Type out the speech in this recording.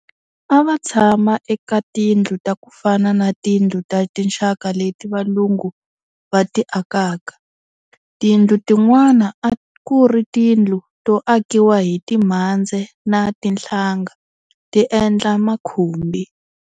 A va tshama eka tindlu ta ku fana na tindlu ta tinxaka leti Valungu va ti akaka. Tindlu tin'wana a ku ri tindlu to akiwa hi timhandze na tinhlanga ti endla makhumbi.